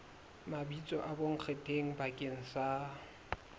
mabitso a bonkgetheng bakeng sa